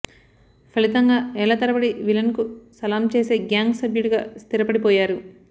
ఫలితంగా ఏళ్ల తరబడి విలన్కు సలాం చేసే గ్యాంగ్ సభ్యుడిగా స్థిరపడిపోయారు